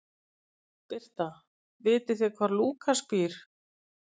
Birta: Vitið þið hvar Lúkas býr?